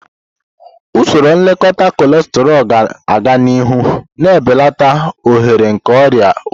Usoro nlekọta cholesterol ga-aga n'ihu, na-ebelata ohere nke ọrịa obi.